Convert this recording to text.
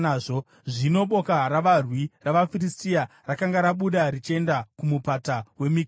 Zvino boka ravarwi ravaFiristia rakanga rabuda richienda kumupata weMikimashi.